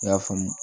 I y'a faamu